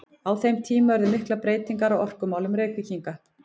Á þeim tíma urðu miklar breytingar á orkumálum Reykvíkinga.